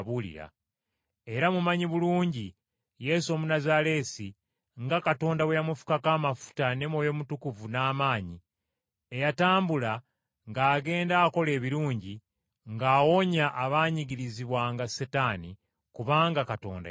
Era mumanyi bulungi Yesu Omunnazaaleesi nga Katonda bwe yamufukako amafuta ne Mwoyo Mutukuvu n’amaanyi, eyatambula ng’agenda akola ebirungi, ng’awonya abaanyigirizibwanga Setaani, kubanga Katonda yali naye.